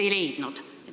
Ei leidnud.